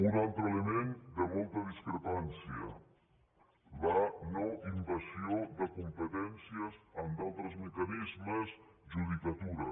un altre element de molta discrepància la no invasió de competències amb altres mecanismes judicatura